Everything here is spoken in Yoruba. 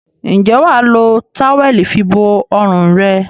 Ǹjẹ́ wà á lo táwẹ́ẹ́lì fibo ọrùn rẹ?